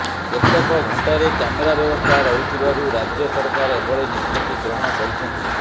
କେତେକ ଘଣ୍ଟାରେ କ୍ୟାମେରା ବ୍ୟବସ୍ଥା ରହୁଥିବାରୁ ରାଜ୍ୟ ସରକାର ଏଭଳି ନିଷ୍ପତ୍ତି ଗ୍ରହଣ କରିଛନ୍ତି